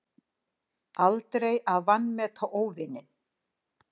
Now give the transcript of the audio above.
Aldrei að vanmeta óvininn.